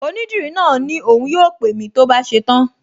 Onídìrí náà ní òun yóò pè mí tó bá ṣe tán